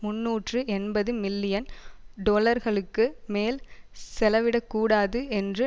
முன்னூற்று எண்பது மில்லியன் டொலர்களுக்கு மேல் செலவிடக்கூடாது என்று